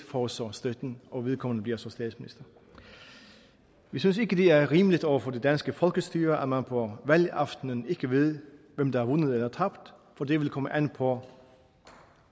får så støtten og vedkommende bliver så statsminister vi synes ikke det er rimeligt over for det danske folkestyre at man på valgaftenen ikke ved hvem der har vundet eller tabt for det vil komme an på